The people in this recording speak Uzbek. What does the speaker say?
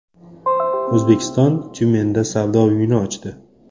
O‘zbekiston Tyumenda savdo uyini ochdi.